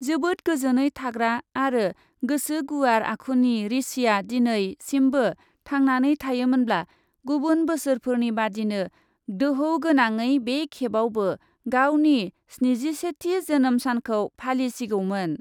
जोबोद गोजोनै थाग्रा आरो गोसो गुवार आखुनि ऋषिआ दिनै सिमबो थांनानै थायोमोनब्ला गुबुन बोसोरफोरनि बादिनो दोहौ गोनाङै बे खेबावबो गावनि स्निजिसेथि जोनोम सानखौ फालिसिगौमोन।